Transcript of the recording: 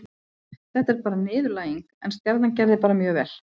Þetta er bara niðurlæging, en Stjarnan gerði bara mjög vel.